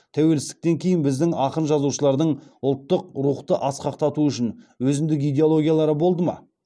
тәуелсіздіктен кейін біздің ақын жазушылардың ұлттық рухты асқақтату үшін өзіндік идеологиялары болды ма